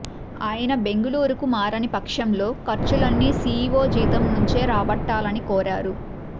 ఆయన బెంగళూరుకు మారని పక్షంలో ఖర్చులన్నీ సీఈవో జీతం నుంచే రాబట్టాలని కోరారు